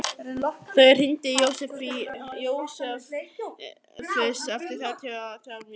Þórir, hringdu í Jósefus eftir þrjátíu og þrjár mínútur.